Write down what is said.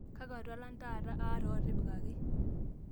kakua tualan taata aata ootipikaki